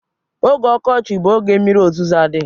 Oge ọkọchị bụ oge mmiri ozuzo adịghị.